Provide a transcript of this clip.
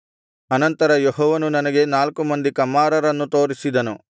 ಅನಂತರ ಯೆಹೋವನು ನನಗೆ ನಾಲ್ಕು ಮಂದಿ ಕಮ್ಮಾರರನ್ನು ತೋರಿಸಿದನು